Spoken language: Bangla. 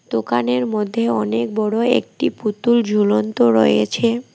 দোকানের মধ্যে অনেক বড় একটি পুতুল ঝুলন্ত রয়েছে।